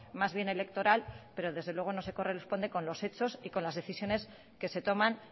más bien electoral pero desde luego no se corresponde con los hechos y con las decisiones que se toman